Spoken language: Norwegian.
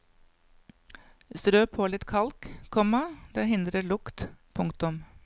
Strø på litt kalk, komma det hindrer lukt. punktum